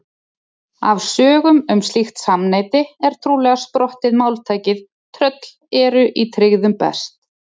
Af sögum um slíkt samneyti er trúlega sprottið máltækið tröll eru í tryggðum best.